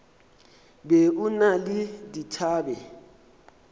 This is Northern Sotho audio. be o na le dithabe